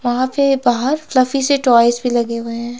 वहा पे बाहर फ्लफी से टॉयज भी लगे हुए हैं।